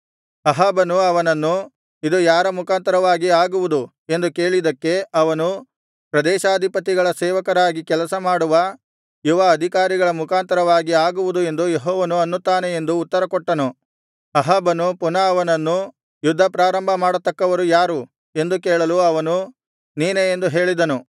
ಅಹಾಬನು ಅವನನ್ನು ಇದು ಯಾರ ಮುಖಾಂತರವಾಗಿ ಆಗುವುದು ಎಂದು ಕೇಳಿದ್ದಕ್ಕೆ ಅವನು ಪ್ರದೇಶಾಧಿಪತಿಗಳ ಸೇವಕರಾಗಿ ಕೆಲಸ ಮಾಡುವ ಯುವ ಅಧಿಕಾರಿಗಳ ಮುಖಾಂತರವಾಗಿ ಆಗುವುದು ಎಂದು ಯೆಹೋವನು ಅನ್ನುತ್ತಾನೆ ಎಂದು ಉತ್ತರಕೊಟ್ಟನು ಅಹಾಬನು ಪುನಃ ಅವನನ್ನು ಯುದ್ಧ ಪ್ರಾರಂಭಮಾಡತಕ್ಕವರು ಯಾರು ಎಂದು ಕೇಳಲು ಅವನು ನೀನೇ ಎಂದು ಹೇಳಿದನು